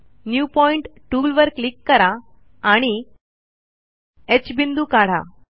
new point टूलवर click करा आणि ह बिंदू काढा